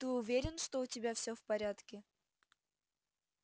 ты уверен что у тебя всё в порядке